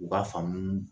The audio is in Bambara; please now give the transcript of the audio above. U ka faamu